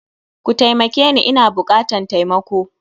Kutaimakeni Ina bukatan taimako.